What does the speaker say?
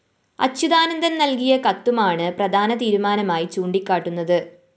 അച്യുതാനന്ദന്‍ നല്‍കിയ കത്തുമാണ്‌ പ്രധാന തീരുമാനമായി ചൂണ്ടികാട്ടുന്നത്‌